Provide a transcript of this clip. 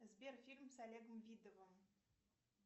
сбер фильм с олегом видовым